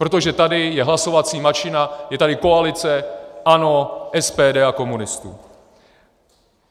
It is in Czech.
Protože tady je hlasovací mašina, je tady koalice ANO, SPD a komunistů!